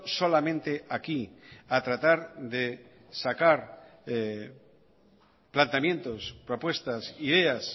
solamente aquí a tratar de sacar planteamientos propuestas ideas